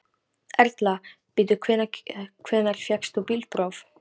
Erla: Bíddu, hvenær fékkst þú bílpróf?